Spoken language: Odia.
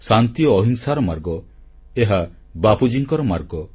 ଶାନ୍ତି ଓ ଅହିଂସାର ମାର୍ଗ ଏହା ବାପୁଜୀଙ୍କର ମାର୍ଗ